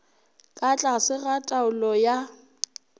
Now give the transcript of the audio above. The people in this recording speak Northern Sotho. ka tlase ga taolo ya